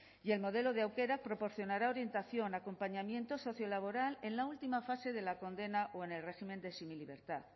y el modelo de aukerak proporcionará orientación acompañamiento socio laboral en la última fase de la condena o en el régimen de semilibertad